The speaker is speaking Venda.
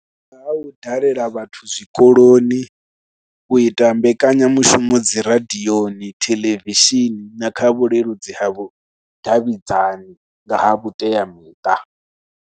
Nga ha u dalela vhathu zwikoloni, u ita mbekanyamushumo dzi radioni, theḽevishini na kha vhuleludzi ha vhudavhidzani nga ha vhuteamiṱa.